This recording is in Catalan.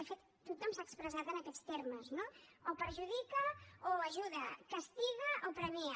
de fet tothom s’ha expressat en aquests termes no o perjudica o ajuda castiga o premia